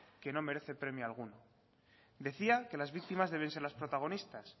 que no merece premio alguno decía que las víctimas deben ser las protagonistas